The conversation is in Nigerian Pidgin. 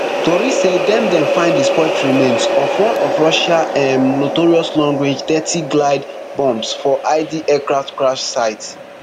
tori say dem dem find di spoilt remains of one of russia um notorious long range dthirty glide bombs for id aircraft crash site